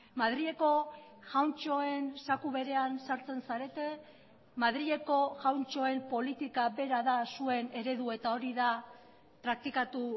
madrileko jauntxoen zaku berean sartzen zarete madrileko jauntxoen politika bera da zuen eredu eta hori da praktikatu